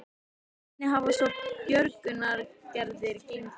Og hvernig hafa svo björgunaraðgerðir gengi?